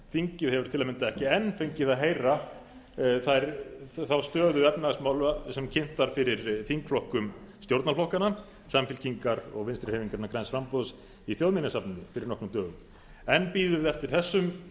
þingið hefur til að mynda ekki enn fengið að heyra þá stöðu efnahagsmála sem kynnt var fyrir þingflokkum stjórnarflokkanna samfylkingar og vinstri hreyfingarinnar græns framboðs í þjóðminjasafninu fyrir nokkrum dögum enn bíða